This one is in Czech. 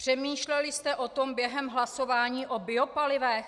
Přemýšleli jste o tom během hlasování o biopalivech?